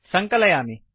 सङ्कलयामि